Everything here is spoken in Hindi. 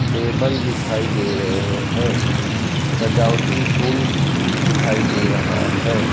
टेबल दिखाई दे रहे हैं सजावटी फूल दिखाई दे रहा है।